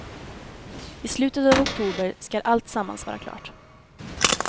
I slutet av oktober skall alltsammans vara klart.